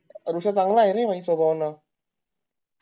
रुष्य चान्ग्लायरे सगळ्यांना